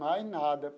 Mais nada.